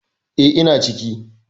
E, ina ciki.